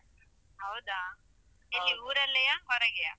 ಹೌದಾ? ಎಲ್ಲಿ ಊರಲ್ಲೆಯಾ? ಹೊರಗೆಯಾ?